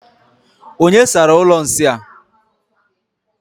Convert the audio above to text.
Onye sara ụlọ nsị a?